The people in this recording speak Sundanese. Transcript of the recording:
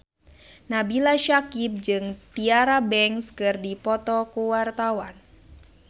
Nabila Syakieb jeung Tyra Banks keur dipoto ku wartawan